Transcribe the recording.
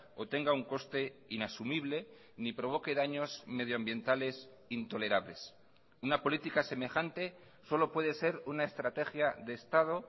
o tenga un coste inasumible ni provoque daños medioambientales intolerables una política semejante solo puede ser una estrategia de estado